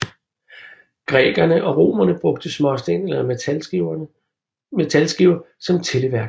Grækerne og romerne brugte småsten eller metalskiver som tælleværk